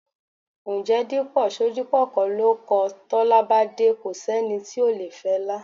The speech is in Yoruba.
Ǹjẹ́ Dípò Ṣodipọ kọ́ ló kọ: "Tọ́lá bá dé, ko sẹ́ni tí ò le fẹlá..."?